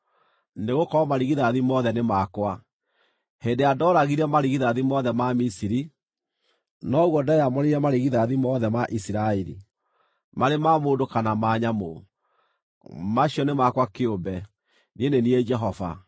nĩgũkorwo marigithathi mothe nĩ makwa. Hĩndĩ ĩrĩa ndooragire marigithathi mothe ma Misiri, noguo ndeyamũrĩire marigithathi mothe ma Isiraeli, marĩ ma mũndũ kana ma nyamũ. Macio nĩ makwa kĩũmbe. Niĩ nĩ niĩ Jehova.”